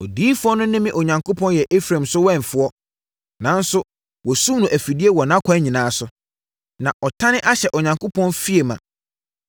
Odiyifoɔ no ne me Onyankopɔn yɛ Efraim so wɛmfoɔ, nanso wɔasum no afidie wɔ nʼakwan nyinaa so, na ɔtane ahyɛ ne Onyankopɔn fie ma.